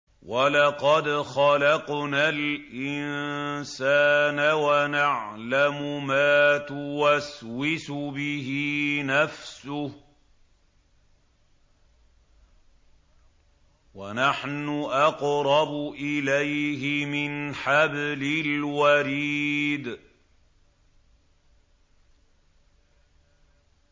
وَلَقَدْ خَلَقْنَا الْإِنسَانَ وَنَعْلَمُ مَا تُوَسْوِسُ بِهِ نَفْسُهُ ۖ وَنَحْنُ أَقْرَبُ إِلَيْهِ مِنْ حَبْلِ الْوَرِيدِ